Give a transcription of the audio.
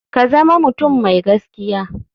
Ka zama mutum mai gaskiya.